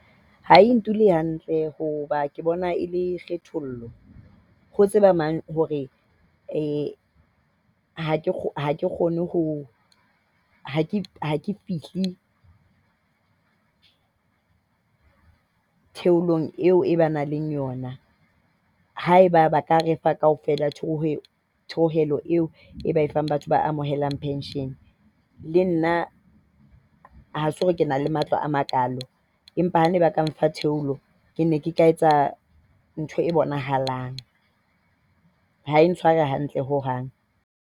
Ha e ndule hantle hoba ke bona e le kgethollo. Ho tseba mang hore ha ke kgone ho, ha ke fihle tikolohong eo e ba nang le yona. Haeba ba ka re fa kaofela eo e ba e fang batho ba amohelang pension. Le nna ha ha se hore ke na le matla a makaalo, empa ha ne ba ka mpha theolo ke ne ke tla etsa ntho e bonahalang. Ha e ntshware hantle ho hang.